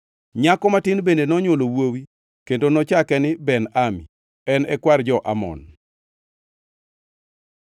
Nyako matin bende nonywolo wuowi kendo nochake ni Ben-Ami; en e kwar jo-Amon.